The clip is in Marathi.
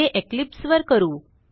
हे इक्लिप्स वर करू